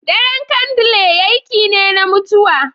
Daren kandle aiki ne na mutuwa.